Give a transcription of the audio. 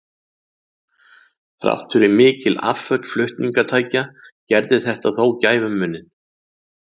Þrátt fyrir mikil afföll flutningatækja gerði þetta þó gæfumuninn.